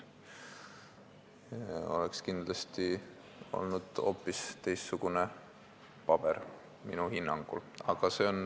Kindlasti oleks siis minu hinnangul hoopis teistsugune paber tehtud.